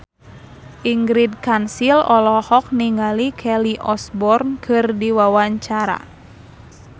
Ingrid Kansil olohok ningali Kelly Osbourne keur diwawancara